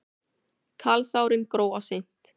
Kalsárin gróa seint.